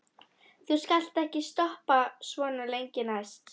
Þú skalt ekki stoppa svona lengi næst.